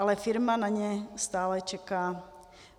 Ale firma na ně stále čeká.